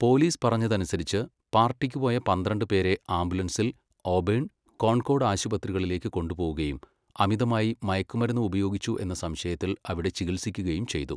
Police പറഞ്ഞതനുസരിച്ച്, പാർട്ടിക്ക് പോയ പന്ത്രണ്ട് പേരെ ആംബുലൻസിൽ ഓബേൺ, കോൺകോർഡ് ആശുപത്രികളിലേക്ക് കൊണ്ടുപോവുകയും അമിതമായി മയക്കുമരുന്ന് ഉപയോഗിച്ചു എന്ന സംശയത്തിൽ അവിടെ ചികിത്സിക്കുകയും ചെയ്തു.